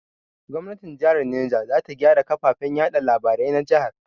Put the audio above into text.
Gomnatin jahar Neja za ta gyara kafafen yaɗa labarai na jahar.